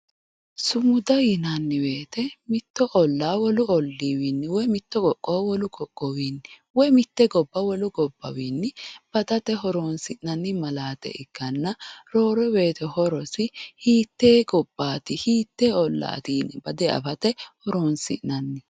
sumuda yinanni woyiite mitto ollaa wolu ollii wiinni mitto qoqqowo wolu qoqqowiwiinni woy mitte gobba wole gobba wiinni badate horoonsi'nanni malaate ikkanna roore woyiite horosi hiittee gobbaati hiikkoyee ollaati yine bade afate horoonsi'nanniho.